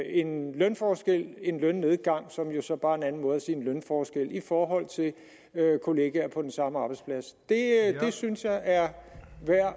en lønforskel en lønnedgang som jo så bare er en anden måde at sige en lønforskel på i forhold til kolleger på den samme arbejdsplads det synes jeg er værd